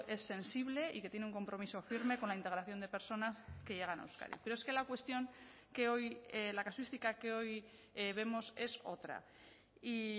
es sensible y que tiene un compromiso firme con la integración de personas que llegan a euskadi pero es que la cuestión que hoy la casuística que hoy vemos es otra y